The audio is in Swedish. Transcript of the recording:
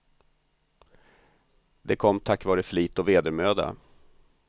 Det kom tack vare flit och vedermöda.